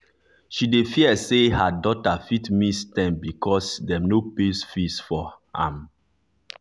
she dey fear say her daughter fit miss term because dem no pay school fees for am.